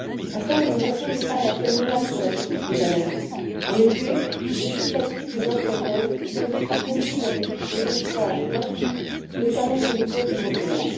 Enfin, le Japon n'est pas la seule menace pour la survie des baleines en effet, les déchets plastiques les empoisonnent et conduisent à des échouages massifs, notamment sur les côtes européennes.